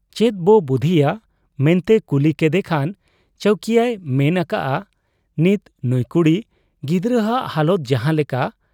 ᱪᱮᱫᱵᱚ ᱵᱩᱫᱷᱤᱭᱟ ᱢᱮᱱᱛᱮᱭ ᱠᱩᱞᱤ ᱠᱮᱫᱮ ᱠᱷᱟᱱ ᱪᱟᱹᱣᱠᱤᱭᱟᱹᱭ ᱢᱮᱱ ᱟᱠᱟᱜ ᱟ ᱱᱤᱛ ᱱᱩᱸᱭ ᱠᱩᱲᱤ ᱜᱤᱫᱟᱹᱨᱟᱜ ᱦᱟᱞᱚᱛ ᱡᱟᱦᱟᱸ ᱞᱮᱠᱟ,